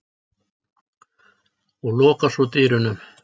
og lokar svo dyrunum.